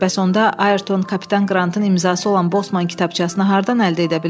Bəs onda Ayrton kapitan Qrantın imzası olan Bosman kitabçasını hardan əldə edə bilərdi?